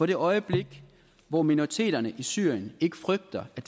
det øjeblik hvor minoriteterne i syrien ikke frygter at